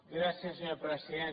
gràcies senyor president